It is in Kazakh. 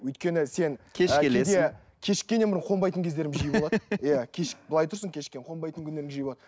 өйткені сен кеш келесің кешіккеннен бұрын қонбайтын кездерім жиі болады иә былай тұрсын кешіккен қонбайтын күндерім жиі болады